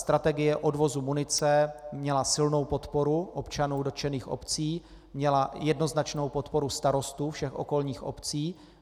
Strategie odvozu munice měla silnou podporu občanů dotčených obcí, měla jednoznačnou podporu starostů všech okolních obcí.